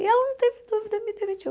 E ela não teve dúvida, me demitiu.